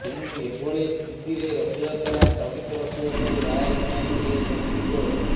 ତେଣୁ ଏଭଳି ସ୍ଥିତିରେ ରଥଯାତ୍ରା ସ୍ଥଗିତ ରଖିବାକୁ ରାୟ ଶୁଣାଇଥିଲେ ସୁପ୍ରିମକୋର୍ଟ